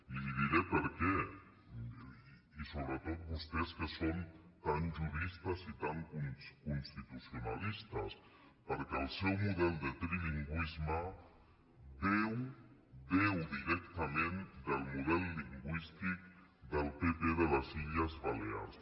i li diré per què i sobretot vostès que són tan juristes i tan constitucionalistes perquè el seu model de trilingüisme beu directament del model lingüístic del pp de les illes balears